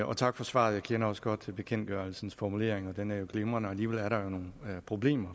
og tak for svaret jeg kender også godt bekendtgørelsens formuleringer den er glimrende og alligevel er der jo nogle problemer